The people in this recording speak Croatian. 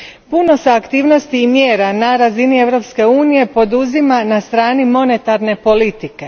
Puno se aktivnosti i mjera na razini Europske unije poduzima na strani monetarne politike.